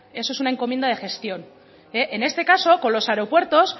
eso es una encomienda de gestión en este caso con los aeropuertos